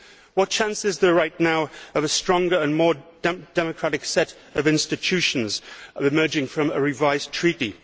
What chance is there, right now, of a stronger and more democratic set of institutions emerging from a revised Treaty?